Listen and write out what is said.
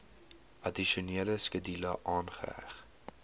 addisionele skedule aangeheg